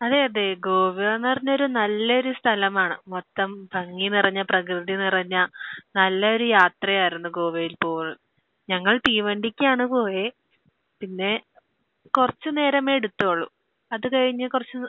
അതെ. അതെ. ഗോവയെന്ന് പറഞ്ഞാൽ ഒരു നല്ലയൊരു സ്ഥലമാണ്. മൊത്തം ഭംഗി നിറഞ്ഞ, പ്രകൃതി നിറഞ്ഞ നല്ല ഒരു യാത്രയായിരുന്നു ഗോവയിലേത്തത്. ഞങ്ങൾ തീവണ്ടിക്കാണ് പോയത്. പിന്നെ, കുറച്ച് നേരമേ എടുത്തുള്ളൂ. അത് കഴിഞ്ഞ് കുറച്ച്